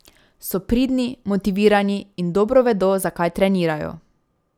So pridni, motivirani in dobro vedo, zakaj trenirajo.